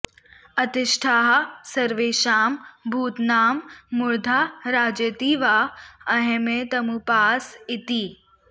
अतिष्ठाः॒ स॒र्वेषां भूता॒नां मूर्धा॒ रा॒जे॒ति वा॒ अह॒मेत॒मु॒पास इ॒ति